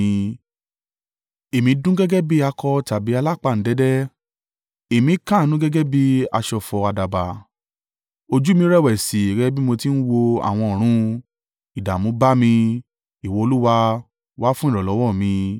Èmi dún gẹ́gẹ́ bí àkọ̀ tàbí alápáǹdẹ̀dẹ̀, èmi káàánú gẹ́gẹ́ bí aṣọ̀fọ̀ àdàbà. Ojú mi rẹ̀wẹ̀sì gẹ́gẹ́ bí mo ti ń wo àwọn ọ̀run. Ìdààmú bá mi, Ìwọ Olúwa, wá fún ìrànlọ́wọ́ mi!”